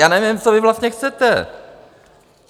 Já nevím, co vy vlastně chcete?